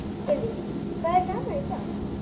Lillý: Hvað er gaman í dag?